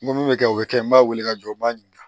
N ko min bɛ kɛ o bɛ kɛ n b'a wele ka jɔ n b'a ɲininka